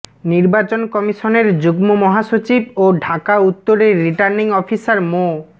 নির্বাচন কমিশনের যুগ্ম মহাসচিব ও ঢাকা উত্তরের রিটার্নিং অফিসার মো